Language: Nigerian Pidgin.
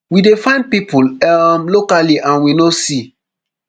we dey find pipo um locally and we no see